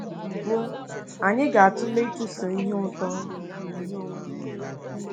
Mbụ, anyị ga-atụle ịchụso ihe ụtọ na ihe onwunwe.